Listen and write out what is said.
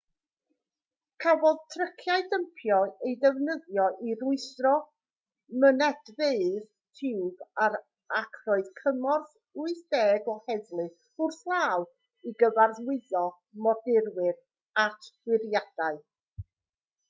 cafodd tryciau dympio eu defnyddio i rwystro mynedfeydd tiwb ac roedd cymorth 80 o heddlu wrth law i gyfarwyddo modurwyr at wyriadau